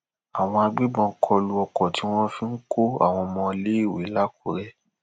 àwọn agbébọn kọ lu ọkọ tí wọn fi ń kọ àwọn ọmọọléèwé lákùrẹ